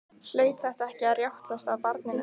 Hlaut þetta ekki að rjátlast af barninu?